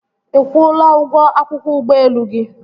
Ị kwụla ụgwọ akwụkwọ ụgbọelu gị?